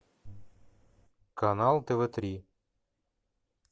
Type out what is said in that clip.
канал тв три